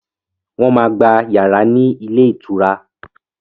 Wọ́n máa gba yàrá ní ilé ìtura.